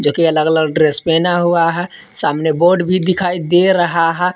Dress पहना हुआ है। सामने बोर्ड भी दिखाई दे रहा है।